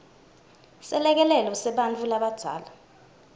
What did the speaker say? selekelelo sebantfu labadzala